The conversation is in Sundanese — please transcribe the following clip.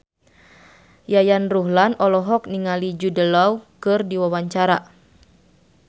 Yayan Ruhlan olohok ningali Jude Law keur diwawancara